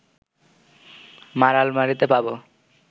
মা’র আলমারিতে পাব